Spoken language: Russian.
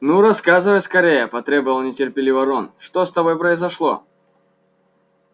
ну рассказывай скорее потребовал нетерпеливо рон что с тобой произошло